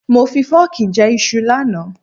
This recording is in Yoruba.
Mo fi fọ́ọ̀kì jẹ iṣu lánàá.